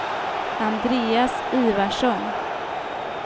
Andreas Ivarsson